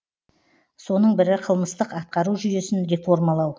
соның бірі қылмыстық атқару жүйесін реформалау